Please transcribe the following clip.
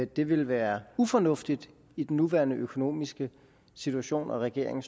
det ville være ufornuftigt i den nuværende økonomiske situation og regeringen